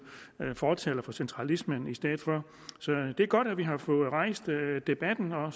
fortaler for centralisme i stedet for så det er godt at vi har fået rejst debatten og